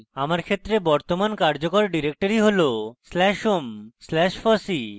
আমার ক্ষেত্রে বর্তমান কার্যকর directory হল slash home slash fossee